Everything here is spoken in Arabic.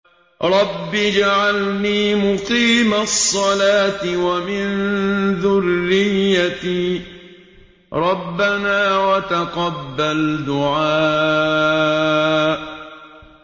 رَبِّ اجْعَلْنِي مُقِيمَ الصَّلَاةِ وَمِن ذُرِّيَّتِي ۚ رَبَّنَا وَتَقَبَّلْ دُعَاءِ